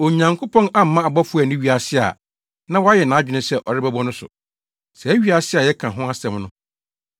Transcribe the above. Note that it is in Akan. Onyankopɔn amma abɔfo anni wiase a na wayɛ nʼadwene sɛ ɔrebɛbɔ no so; saa wiase a yɛka ho asɛm no.